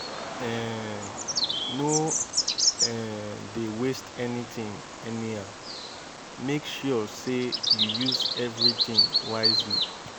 um no um dey waste anytin anyhow mek sure sey yu use evritin wisely